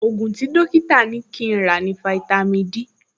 Ògùn tí dọ́kítà ní kí n rà ní fáítámì Dí